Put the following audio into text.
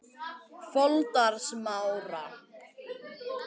Foldarsmára